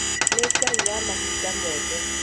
Nĩ Ngai wa mahinda moothe